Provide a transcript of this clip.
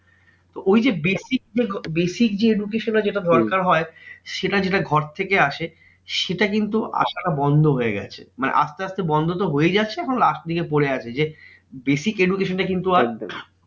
তো ওই যে basic যে basic যে education টা যেটা দরকার হয়, সেটা যেটা ঘর থেকে আসে, সেটা কিন্তু আসাটা বন্ধ হয়ে গেছে। মানে আসতে আসতে বন্ধ তো হয়েই যাচ্ছে এখন last এর দিকে পরে আছে। যে basic education টা কিন্তু আর